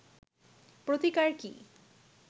প্রতিকার কি